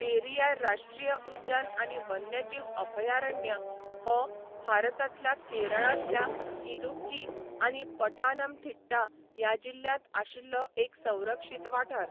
पेरियार राश्ट्रीय उद्यान आनी वन्यजीव अभयारण्य हो भारतांतल्या केरळांतल्या इदुक्की आनी पठानमथिट्टा ह्या जिल्ह्यांत आशिल्लो एक संरक्षित वाठार.